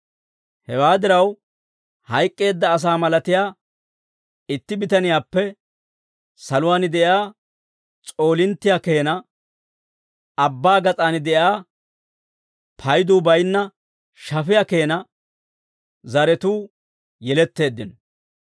Hewaa diraw, hayk'k'eedda asaa malatiyaa itti bitaniyaappe saluwaan de'iyaa s'oolinttiyaa keena, abbaa gas'aan de'iyaa payduu baynna shafiyaa keena zaratuu yeletteeddino.